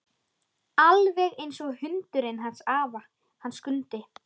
Alveg einsog hundurinn hans afa, hann Skundi.